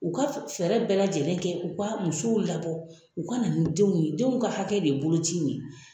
U ka fɛɛrɛ bɛɛ lajɛlen kɛ, u ka musow labɔ, u ka na ni denw ye, denw ka hakɛ de boloci in ye